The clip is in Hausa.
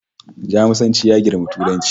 Jamusanci ya girmi yaren Turanci